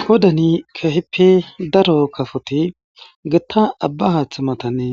Pudeni kehipe daro kafoti gotta Abba Hatha matani